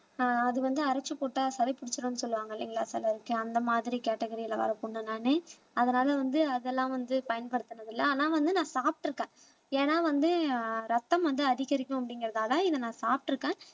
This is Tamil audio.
ஆஹ் அது வந்து அரைச்சு போட்டா சளி பிடிச்சிரும்னு சொல்லுவாங்க இல்லைங்களா சிலருக்கு அந்த மாதிரி கேட்டகரில வர பொண்ண நானு அதனால வந்து அதெல்லாம் வந்து பயன்படுத்தினதில்லை ஆனா வந்து நான் சாப்பிட்டிருக்கேன் ஏன்னா வந்து அஹ் ரத்தம் வந்து அதிகரிக்கும் அப்படிங்கிறதுக்காக இதை நான் சாப்பிட்டிருக்கேன்